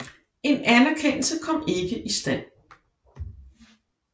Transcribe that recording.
En anerkendelse kom ikke i stand